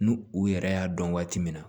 N'u u yɛrɛ y'a dɔn waati min na